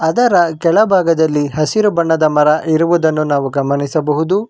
ಅದರ ಕೆಳಭಾಗದಲ್ಲಿ ಹಸಿರು ಬಣ್ಣದ ಮರ ಇರುವುದನ್ನು ನಾವು ಗಮನಿಸಬಹುದು.